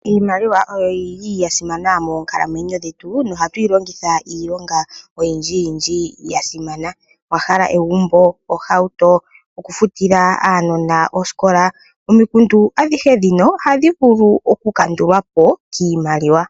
Iimaliwa oyo yi li ya simana moonkalamwenyo dhetu nohatu yi longitha iilonga oyindjiyindji ya simana. Owa hala egumbo, ohauto, okufutila aanona osikola? Omikundu adhihe ndhino ohadhi vulu okukandulwa po kiimaliwa.